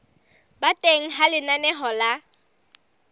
ba teng ha lenaneo la